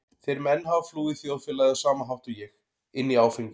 Þeir menn hafa flúið þjóðfélagið á sama hátt og ég- inn í áfengið.